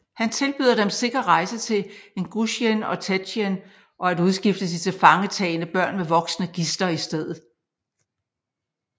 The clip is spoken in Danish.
Han tilbyder dem sikker rejse til Ingusjien og Tjetjenien og at udskifte de tilfangetagne børn med voksne gidsler i steder